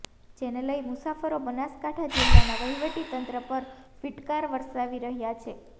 જેને લઇ મુસાફરો બનાસકાંઠા જિલ્લાના વહીવટીતંત્ર ઉપર ફીટકાર વરસાવી રહ્યા છે